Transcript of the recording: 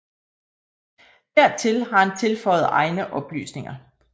Dertil har han tilføjet egne oplysninger